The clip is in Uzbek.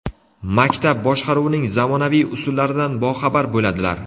maktab boshqaruvining zamonaviy usullaridan boxabar bo‘ladilar.